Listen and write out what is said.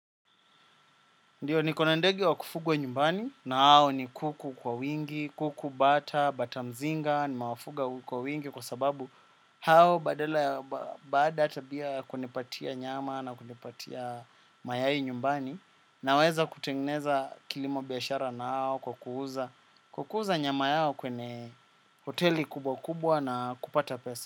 Ndiyo niko na ndege wa kufugwa nyumbani na hao ni kuku kwa wingi, kuku bata, bata mzinga, nimewafuga kwa wingi kwa sababu hao badala ya bsada hata pia kunipatia nyama na kunipatia mayai nyumbani naweza kutengeneza kilimo biashara nao kwa kuuza nyama yao kwenye hoteli kubwa kubwa na kupata pesa.